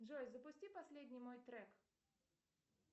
джой запусти последний мой трек